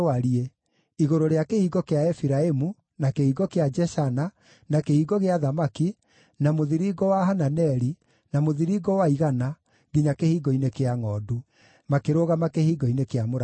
igũrũ rĩa Kĩhingo kĩa Efiraimu, na Kĩhingo kĩa Jeshana, na Kĩhingo gĩa Thamaki, na Mũthiringo wa Hananeli, na Mũthiringo wa Igana, nginya Kĩhingo-inĩ kĩa Ngʼondu. Makĩrũgama Kĩhingo-inĩ kĩa Mũrangĩri.